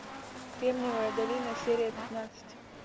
кремниевая долина серия пятнадцать